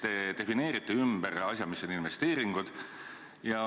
Te defineerite ümber, mis on investeeringud.